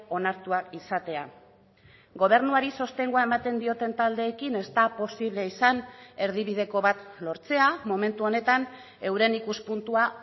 onartuak izatea gobernuari sostengua ematen dioten taldeekin ez da posible izan erdibideko bat lortzea momentu honetan euren ikuspuntua